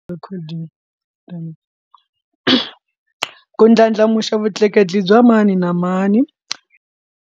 Recording then ku ndlandlamuxa vutleketli bya mani na mani.